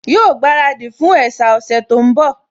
Yóò gbaradì fún ẹ̀sà ọ̀sẹ̀ tó ń bọ̀